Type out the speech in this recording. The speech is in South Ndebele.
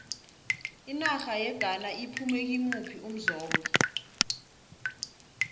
inarha yeghana iphume kimuphi umzombe